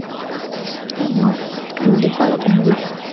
ஆமா கண்டிப்பாக பண்ணலாம்